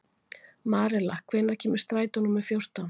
Marela, hvenær kemur strætó númer fjórtán?